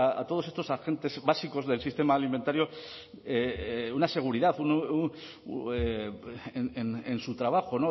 a todos estos agentes básicos del sistema alimentario una seguridad en su trabajo